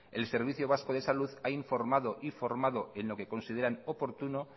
el servicio vasco de salud ha informado y formado en lo que consideran oportuno